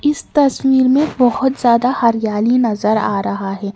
इस तस्वीर में बहोत ज्यादा हरियाली नजर आ रहा है।